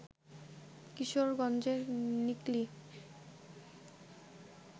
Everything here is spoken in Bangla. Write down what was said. কিশোরগঞ্জের নিকলী